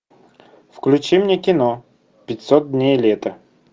включи мне кино пятьсот дней лета